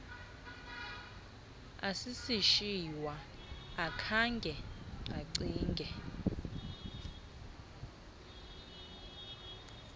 asisishiywa akhange acinge